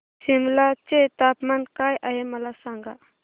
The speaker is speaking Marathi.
सिमला चे तापमान काय आहे मला सांगा